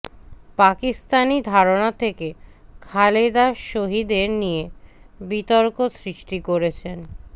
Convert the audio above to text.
পাকিস্তানি ধারণা থেকে খালেদা শহীদদের নিয়ে বিতর্ক সৃষ্টি করেছেন